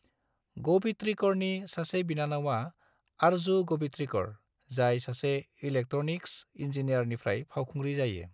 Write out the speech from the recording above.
ग'बित्रिकरनि सासे बिनानावा आरजु ग'बित्रिकर, जाय सासे इलेक्ट्रनिक्स इन्जीनियारनिफ्राय फावखुंग्रि जायो।